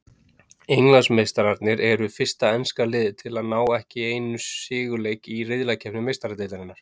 Englandsmeistararnir eru fyrsta enska liðið til að ná ekki einu sigurleik í riðlakeppni Meistaradeildarinnar.